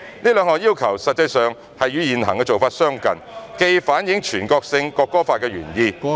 這兩項要求實際上與現行做法相近，既反映全國性《國歌法》的原意......